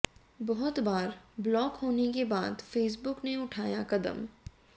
बहुत बार ब्लॉक होने के बाद फेसबुक ने उठाया कदम